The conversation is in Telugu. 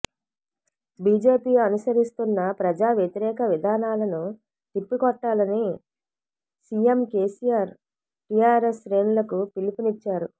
బిజెపి అనుసరిస్తున్న ప్రజావ్యతిరేక విధానాలను తిప్పికొట్టాలని సిఎం కెసిఆర్ టిఆర్ఎస్ శ్రేణులకు పిలపునిచ్చారు